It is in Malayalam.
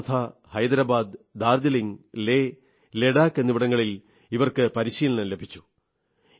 വർധാ ഹൈദരാബാദ് ഡാർജിലിംഗ് ലേ ലഡാഖ് എന്നിവിടങ്ങളിൽ ഇവർക്ക് പരിശീലനം ലഭിച്ചു